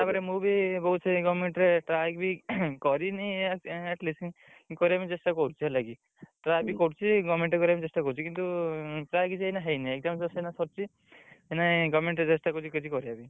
ତାପରେ ମୁଁ ବି ବହୁତ୍ ସେଇ government ରେ try ବି କରିନି କରିବା ପାଇଁ ଚେଷ୍ଟା କରୁଛି ହେଲାକି try ବି କରୁଛି government ରେ କରିବା ପାଇଁ ଚେଷ୍ଟା କରୁଛି କିନ୍ତୁ ପ୍ରାୟ କିଛି ଏଇନା ହେଇନି exam ଏବେ ସବୁ ସରିଚି government ରେ ଚେଷ୍ଟା କରୁଛି କରିବା ପାଇଁ।